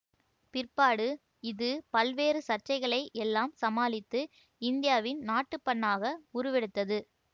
பிற்பாடு இது பல்வேறு சர்ச்சைகளை எல்லாம் சமாளித்து இந்தியாவின் நாட்டுப்பண்ணாக உருவெடுத்தது